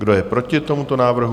Kdo je proti tomuto návrhu?